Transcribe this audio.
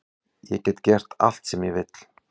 Ég get gert allt sem ég vil